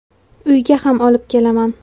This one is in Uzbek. Uyga ham olib kelaman.